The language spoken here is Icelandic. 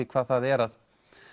hvað það er að